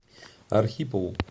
архипову